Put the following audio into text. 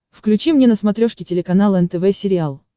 включи мне на смотрешке телеканал нтв сериал